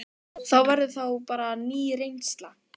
Það verður þá bara ný reynsla.